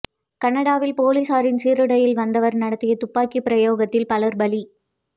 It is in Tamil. கனடாவில் பொலிஸாரின் சீருடையில் வந்தவர் நடத்திய துப்பாக்கி பிரயோகத்தில் பலர் பலி